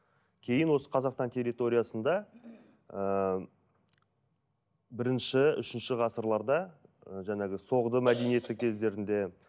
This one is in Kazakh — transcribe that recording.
кейін осы қазақстан территориясында ыыы бірінші үшінші ғасырларда ы жаңағы соғды мәдениеті кездерінде